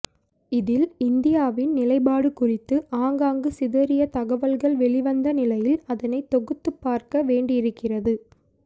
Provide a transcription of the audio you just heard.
இதில் இந்தியாவின் நிலைப்பாடு குறித்து ஆங்காங்கு சிதறிய தகவல்கள் வெளிவந்த நிலையில் அதனை தொகுத்துப் பார்க்க வேண்டியிருக்கிறது